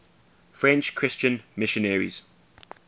french christian missionaries